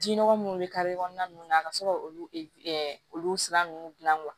Ji nɔgɔ munnu bɛ kare kɔnɔna nunnu na ka sɔrɔ olu sira nunnu gilan